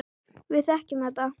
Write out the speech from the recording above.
Við þekkjum þetta.